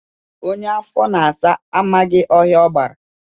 Onye afọ na-asa amaghị ọhịa agbara